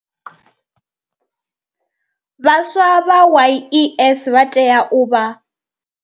Vhaswa vha YES vha tea u vha.